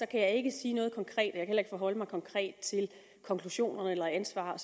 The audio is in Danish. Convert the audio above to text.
kan jeg ikke sige noget konkret kan heller ikke forholde mig konkret til konklusioner eller ansvar